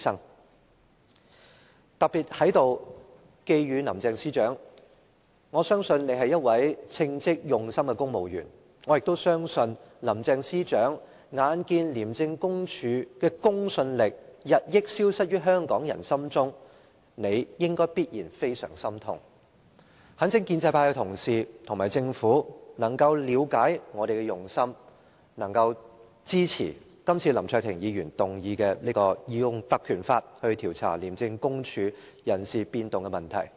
我特別在這裏寄語林鄭司長，我相信她是一位稱職用心的公務員，我也相信林鄭司長眼見廉署的公信力日益消失於香港人心中，理應感到非常心痛，我懇請建制派的同事和政府能夠了解我們的用心，支持今次林卓廷議員提出引用《條例》來調查廉署人事變動問題的議案。